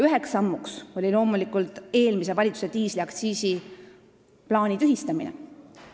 Üheks sammuks oli loomulikult eelmise valitsuse diisliaktsiisiplaani tühistamine.